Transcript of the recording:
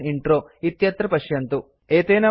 एतेन वयं अस्य पाठस्य अन्तम् आगतवन्तः स्मः